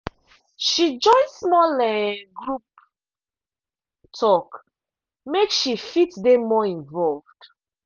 she join small um group talk make she fit dey more involved.